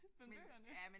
Men bøgerne